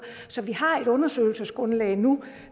så vi har et undersøgelsesgrundlag nu